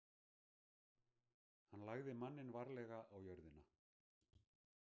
Hann lagði manninn varlega á jörðina.